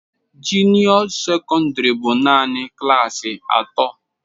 Junio secondary bụ naanị klaasị atọ.